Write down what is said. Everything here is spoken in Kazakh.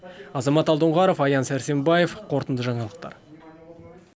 азамат алдоңғаров аян сәрсенбаев қорытынды жаңалықтар